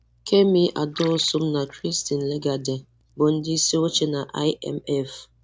Kemi Adeosun na Christine Lagarde, bụ ndị isi oche na IMF